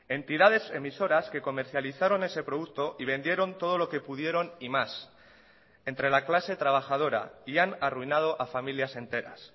entidades emisoras que comercializaron ese producto y vendieron todo lo que pudieron y más entre la clase trabajadora y han arruinado a familias enteras